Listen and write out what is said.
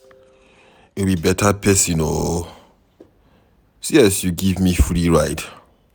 You be beta person oo, see as you give me free ride.